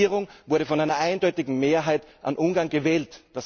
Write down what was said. Diese Regierung wurde von einer eindeutigen Mehrheit an Ungarn gewählt.